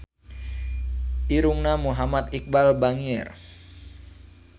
Irungna Muhammad Iqbal bangir